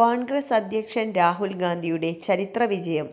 കോൺഗ്രസ് അധ്യഷൻ രാഹുൽ ഗാന്ധിയുടെ ചരിത്രവിജയം